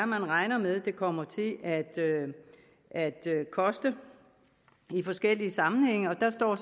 man regner med det kommer til at at koste i forskellige sammenhænge der står